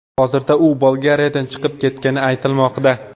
Hozirda u Bolgariyadan chiqib ketgani aytilmoqda.